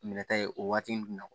Minɛta ye o waati jumɛn na